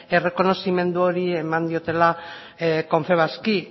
errekonozimendu hori eman diotela confebaski